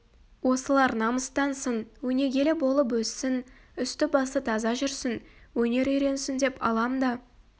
осылар намыстансын өнегелі болып өссін үсті-басы таза жүрсін өнер үйренсін деп алам да